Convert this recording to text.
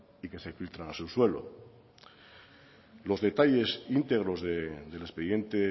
y que se filtran al subsuelo los detalles íntegros del expediente